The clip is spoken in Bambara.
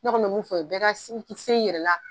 Ne kɔni mɛ mun fɔ, bɛ ka si sen i yɛrɛ la.